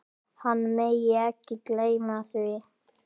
Hann megi ekki gleyma því.